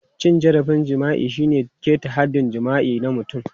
Cin zarafin jima'i shine ƙeta haɗɗin jima'i na mutum.